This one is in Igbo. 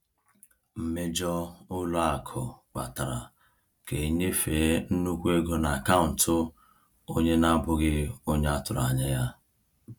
Mmejọ ụlọ akụ kpatara ka e nyefee nnukwu ego n’akaụntụ onye na-abụghị onye a tụrụ anya ya.